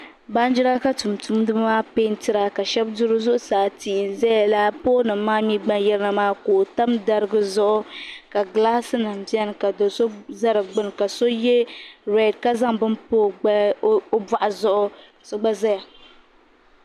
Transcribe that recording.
Banjira ka tuntumdi bi maa pɛntira ka shɛbi du bɛ zuɣu saa tii n zaya la ka poolnimaa gba yirina ka o tam dariga zuɣu ka gilaasinim biɛni ka do so za di gbubi ka so ye red ka zaŋ bini pa o bɔɣu zuɣu.